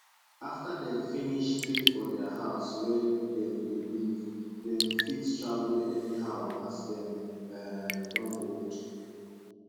after dem finish pay for dia house wey dem dey live dem fit travel anyhow as dem um don old